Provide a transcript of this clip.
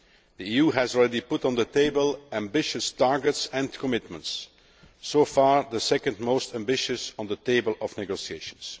The EU has already put on the table ambitious targets and commitments so far, the second most ambitious on the table of negotiations.